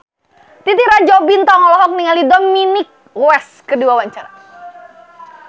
Titi Rajo Bintang olohok ningali Dominic West keur diwawancara